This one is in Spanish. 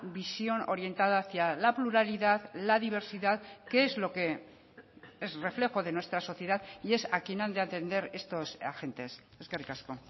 visión orientada hacia la pluralidad la diversidad que es lo que es reflejo de nuestra sociedad y es a quien han de atender estos agentes eskerrik asko